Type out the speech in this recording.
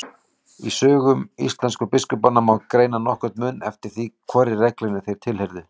Í sögum íslensku biskupanna má greina nokkurn mun eftir því hvorri reglunni þeir tilheyrðu.